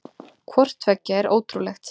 Hvort tveggja er ótrúlegt.